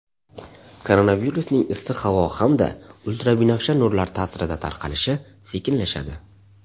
Koronavirusning issiq havo hamda ultrabinafsha nurlar ta’sirida tarqalishi sekinlashadi.